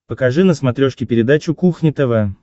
покажи на смотрешке передачу кухня тв